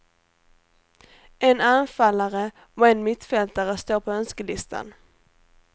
En anfallare och en mittfältare står på önskelistan.